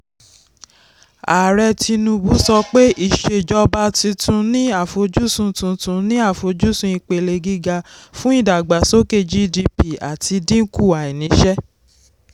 ààrẹ tinubu sọ pé ìṣèjọba tuntun ní àfojúsùn tuntun ní àfojúsùn ipele gíga fún ìdàgbàsókè gdp àti dínkù àìnísẹ́.